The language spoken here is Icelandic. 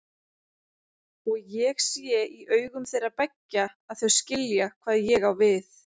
Og ég sé í augum þeirra beggja að þau skilja hvað ég á við.